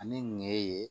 Ani ŋɛɲɛ ye